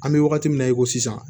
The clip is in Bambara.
An bɛ wagati min na i ko sisan